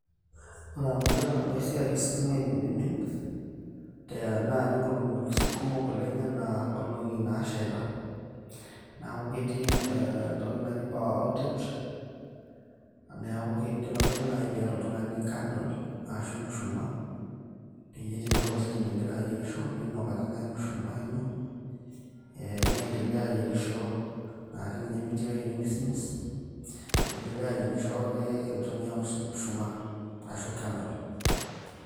Ore amu ktamoo esiai ositima oiminimin tenaaji nkolongi kumok oleng anaa nkolongi naashaita niaku ketii etoki naji mmhe power outage amu eidimayu ake piata oltungani candle ashu mshumaa peyie tenelo ositima ingira ayierisho ninok ake nai emushumaa ino eeh niendelea ayierisho naake ninye mitii ewuei nemismis niendeleao ake asherisho ake intumia mshu mshumaa ashu candle.